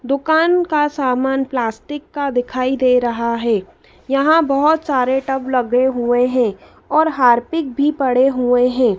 दुकान का सामान प्लास्टिक का दिखाई दे रहा हैं यहां बहोत सारे टब लगे हुए हैं और हार्पिक भी पड़े हुएं हैं।